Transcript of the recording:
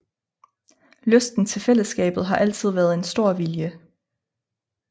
Lysten til fællesskabet har altid været en stor vilje